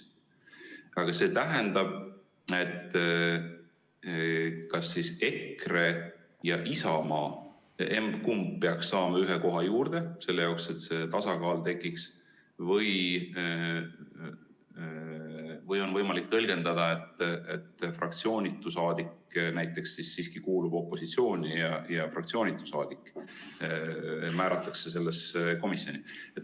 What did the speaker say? Aga see tähendab, et kas EKRE või Isamaa, emb-kumb, peaks saama ühe koha juurde, selle jaoks, et see tasakaal tekiks, või on võimalik tõlgendada, et fraktsioonitu saadik näiteks siiski kuulub opositsiooni ja fraktsioonitu saadik määratakse sellesse komisjoni.